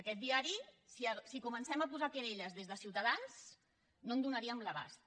aquest diari si comencem a posar querelles des de ciutadans no en donaríem l’abast